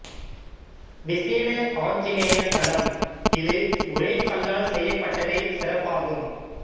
விசேட ஆஞ்சநேயர் தலம் இது ஒரே கல்லால் செய்யப்பட்டதே சிறப்பாகும்